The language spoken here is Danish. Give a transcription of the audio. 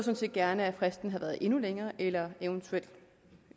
set gerne at fristen havde været endnu længere eller eventuelt